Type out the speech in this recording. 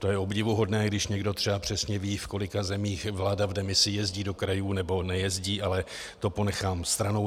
To je obdivuhodné, když někdo třeba přesně ví, v kolika zemích vláda v demisi jezdí do krajů nebo nejezdí, ale to ponechám stranou.